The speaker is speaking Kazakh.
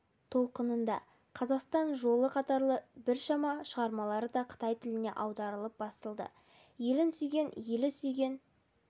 толқынында қазақстан жолы қатарлы бірқанша шығармалары да қытай тіліне аударылып басылды елін сүйген елі сүйген